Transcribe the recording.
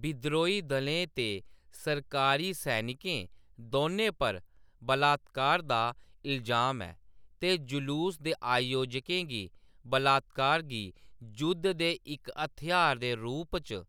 बिद्रोही दलें ते सरकारी सैनिकें, दौनें पर बलात्कार दा इलजाम ऐ ते जुलूस दे आयोजकें गी बलात्कार गी जुद्ध दे इक हथ्यार दे रूप च